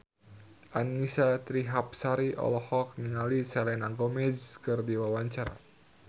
Annisa Trihapsari olohok ningali Selena Gomez keur diwawancara